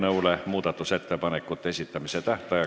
Head kolleegid, toimekat tööpäeva jätku teile kõigile!